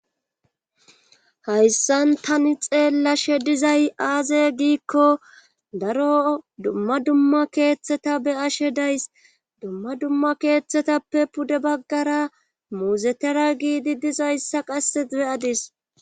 Hayssan tani xeellashe dizay aaze giikko daro dumma dumma keeththeta be ashe days dumma dumma keeththetappe pude baggara muuzetera giidi dizayssa qasse beyadis